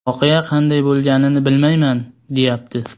Voqea qanday bo‘lganini bilmayman, deyapti.